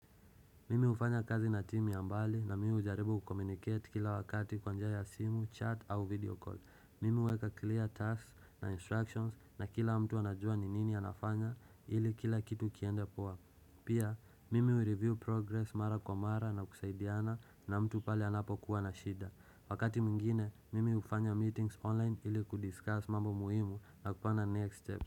Mimi hufanya kazi na timu ya mbali na mimi hujaribu kukomunicate kila wakati kwa njia ya simu, chat au video call. Mimi uweka clear tasks na instructions na kila mtu anajua ni nini anafanya ili kila kitu kiende poa. Pia, mimi ureview progress mara kwa mara na kusaidiana na mtu pale anapo kuwa na shida. Wakati mingine, mimi ufanya meetings online ili kudiscuss mambo muhimu na kupana next step.